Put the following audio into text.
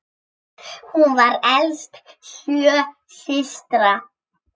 Hún var elst sjö systra.